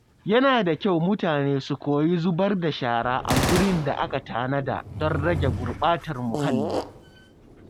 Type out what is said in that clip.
Yana da kyau mutane su koyi zubar da shara a gurin da aka tanada don rage gurɓatar muhalli.